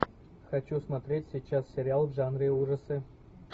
хочу смотреть сейчас сериал в жанре ужасы